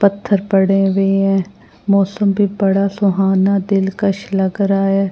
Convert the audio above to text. पत्थर पड़े हुए हैं मौसम भी बड़ा सुहाना दिलकश लग रहा है।